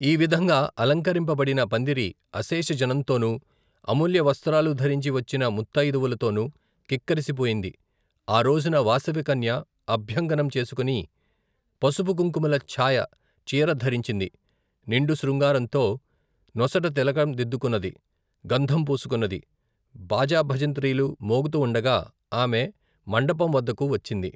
ఈవిధంగా అలంకరింపబడిన పందిరి అశేషజనంతోనూ అమూల్య వస్త్రాలు ధరించి వచ్చిన ముత్తయిదువులతోనూ క్రిక్కిరిసిపోయింది ఆ రోజున వాసవికన్య అభ్యంగనం చేసుకొని పసుపు కుంకుమల ఛాయ చీర ధరించింది నిండు శృంగారంతో నొసట తిలకం దిద్దుకొన్నది గంధం పూసుకొన్నది బాజాభజంత్రీలు మ్రోగుతూ వుండగా ఆమె మండపంవద్దకు వచ్చింది.